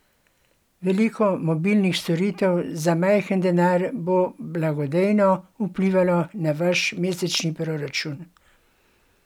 Veliko mobilnih storitev za majhen denar bo blagodejno vplivalo na vaš mesečni proračun!